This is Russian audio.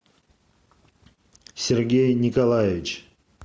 сергей николаевич